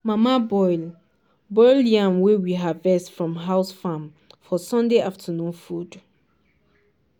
mama boil boil yam wey we harvest from house farm for sunday afternoon food.